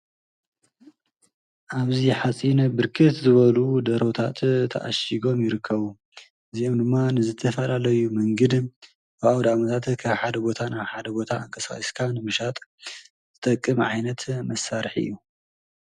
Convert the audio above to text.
ኣብዚ ሓፂን ብርክት ዝበሉ ደርሆታት ተኣሺጎም ይርከቡ። እዚኦም ድማ ንዝተፈላለዩ መንግድን ንኣውደኣመታት ካብ ሓደ ቦታ ናብ ሓደ ቦታ ኣንቀሳቂስካ ሒዝካ ንምሻጥ ዝጠቅም ዓይነት መሳርሒ እዩ።